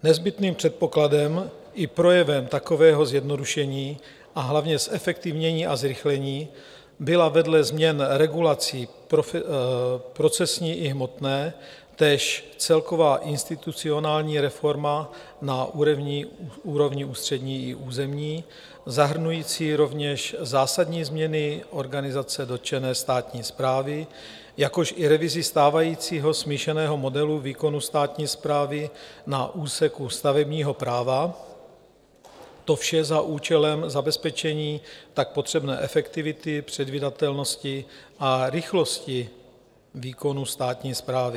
Nezbytným předpokladem i projevem takového zjednodušení, a hlavně zefektivnění a zrychlení byla vedle změn regulací procesní i hmotné též celková institucionální reforma na úrovni ústřední i územní, zahrnující rovněž zásadní změny organizace dotčené státní správy, jakož i revizi stávajícího smíšeného modelu výkonu státní správy na úseku stavebního práva, to vše za účelem zabezpečení tak potřebné efektivity, předvídatelnosti a rychlosti výkonu státní správy.